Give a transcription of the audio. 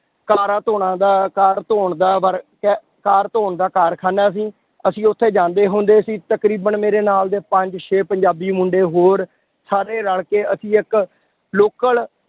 ਕਾਰਾਂ ਧੌਣਾਂ ਦਾ ਕਾਰ ਧੌਣ ਦਾ work ਹੈ, ਕਾਰ ਧੌਣ ਦਾ ਕਾਰਖਾਨਾ ਸੀ, ਅਸੀਂ ਉੱਥੇ ਜਾਂਦੇ ਹੁੰਦੇ ਸੀ ਤਕਰੀਬਨ ਮੇਰੇ ਨਾਲ ਦੇ ਪੰਜ ਛੇ ਪੰਜਾਬੀ ਮੁੰਡੇ ਹੋਰ ਸਾਰੇ ਰਲ ਕੇ ਅਸੀਂ ਇੱਕ local